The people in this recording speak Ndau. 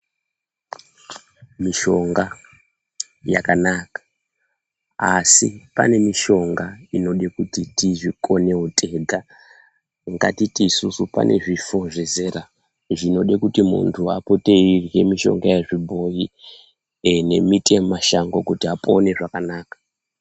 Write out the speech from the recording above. Mishonga yakanaka asi pane mishonga inoda kuti tizvikonewo tega ngatiti isusu pane zvifo zvezera zvinode kuti munthhu apote eirhya mishonga yezvibhoyi nemuti yemunashango kuti apone zvakanaka.